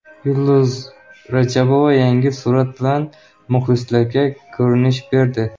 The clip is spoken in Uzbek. Yulduz Rajabova yangi surat bilan muxlislariga ko‘rinish berdi.